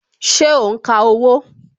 Ṣé o n ka owó?